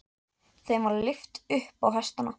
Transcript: Þeim var lyft upp á hestana.